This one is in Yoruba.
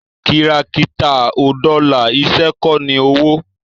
kìràkìtà ò dọlà, iṣẹ́ kọ́ ní owó